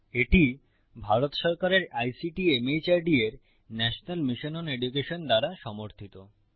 এটি ভারত সরকারের আইসিটি মাহর্দ এর ন্যাশনাল মিশন ওন এডুকেশন দ্বারা সমর্থিত